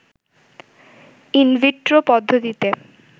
in vitro পদ্ধতিতে